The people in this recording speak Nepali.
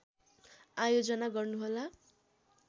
आयोजना गर्नुहोला